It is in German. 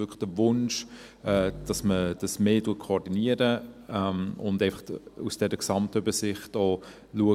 Wirklich der Wunsch, dass man das mehr koordiniert und einfach auch aus dieser Gesamtübersicht schaut: